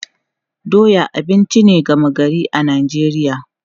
Doya abinci ne gama gari a Najeriya.